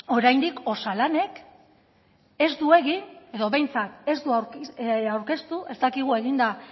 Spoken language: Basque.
oraindik osalanek ez du egin edo behintzat ez du aurkeztu ez dakigu eginda